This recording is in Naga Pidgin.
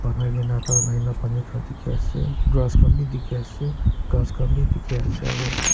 bangai ke na tai ahi ke na pani khan dikhi ase grass khan bhi dikhi ase ghass khan bhi dikhi ase aru -